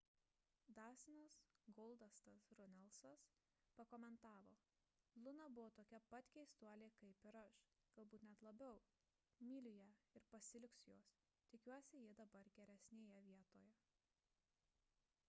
dastinas goldastas runelsas pakomentavo luna buvo tokia pat keistuolė kaip ir aš galbūt net labiau myliu ją ir pasiilgsiu jos tikiuosi ji dabar geresnėje vietoje